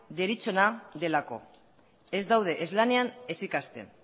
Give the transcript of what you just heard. deritzona delako ez daude ez lanean ez ikasten